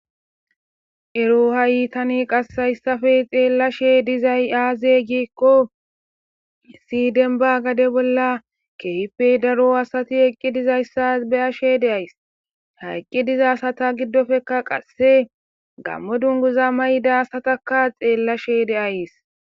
Erro ha'i qase hayssappe tani xellashe dizayssi azee?gizayssa gikko issi demba gade bolla kehippe daro asati eqqi dizayssa be'ashe dayssi.ha eqqi diza asata giddoppekka qase gamo dungguza mayidda asatakka xellashe de'ayssi.